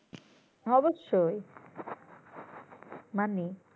অবশ্যই মানি